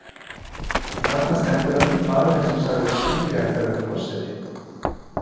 Og þarna stendur hann, maðurinn sem sagði að Skúli ætti að verða forseti.